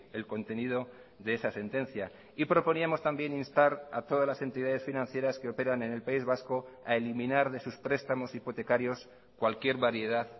el contenido de esa sentencia y proponíamos también instar a todas las entidades financieras que operan en el país vasco a eliminar de sus prestamos hipotecarios cualquier variedad